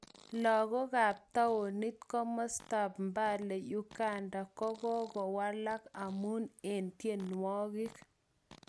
Lagok kap townit komostab Mbale Uganda kokowalak amun eng tienwokik